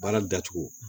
Baara datugu